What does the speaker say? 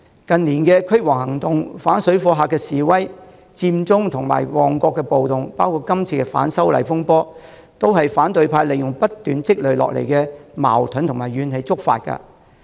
近年的"驅蝗行動"、反水貨客示威、佔中和旺角暴動，以及今次反修例風波，都是反對派利用不斷積累下來的矛盾和怨氣觸發的。